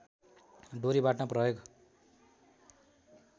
डोरी बाट्न प्रयोग